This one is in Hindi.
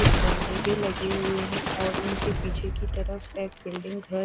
कुछ गमले भी लगे हुए है और इनके पीछे की तरफ एक बिल्डिंग घर--